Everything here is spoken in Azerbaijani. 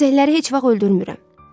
Sisəkləri heç vaxt öldürmürəm.